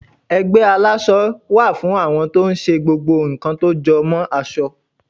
ẹgbẹ àlásò wá fún àwọn to n ṣe gbogbo nkan tó jọ mo aso